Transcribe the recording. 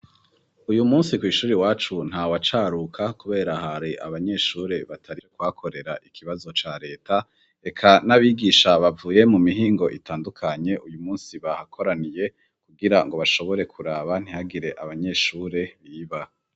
Uyu musi kw'ishuri wacu nta wacaruka, kubera hari abanyeshure batarie kwakorera ikibazo ca leta eka n'abigisha bavuye mu mihingo itandukanye uyu musi bahakoraniye kugira ngo bashobore kuraba ntihagire abanyeshure biba.